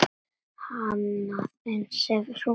Annað eins hefur hún gert.